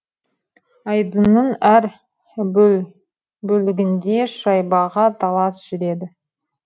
айдынның әр бөлігінде шайбаға талас жүреді